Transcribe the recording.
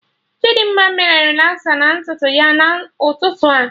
Chidimma mee relasa na ntutu ya na ụtụtụ a